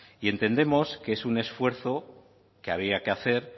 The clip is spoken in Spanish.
y entendemos que es un esfuerzo que había que hacer